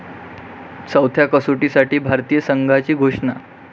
चौथ्या कसोटीसाठी भारतीय संघाची घोषणा